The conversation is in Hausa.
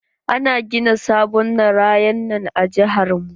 Ana gina sabon narayanan a jihar mu.